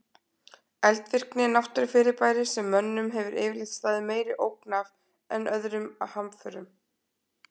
Eldvirkni er náttúrufyrirbæri sem mönnum hefur yfirleitt staðið meiri ógn af en öðrum hamförum.